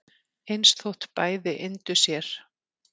eins þótt bæði yndu sér